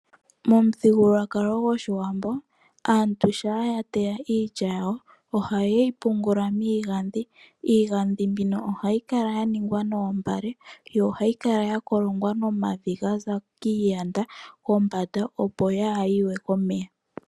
Momuthigululwakalo gwoshiwambo aantu shampa ya teya iilya ohaye yi tula miigandhi. Iigandhi mbino ohayi kala ya ningwa noombale yo ohayi kala ya kolongwa nomavi ga za kiiyanda kombanda, opo kaayi yi we komeya.